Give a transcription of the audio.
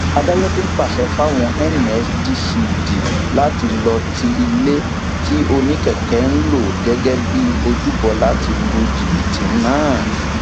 adájọ tún pàṣẹ fáwọn nsdcd láti lọọ ti ilé tí oníkèké ń lò gẹgẹ bíi ojúbọ láti lu jìbìtì náà